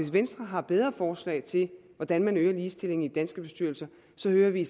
venstre har bedre forslag til hvordan man øger ligestillingen i danske bestyrelser så hører vi i